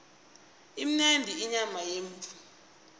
imnandi inyama yemvu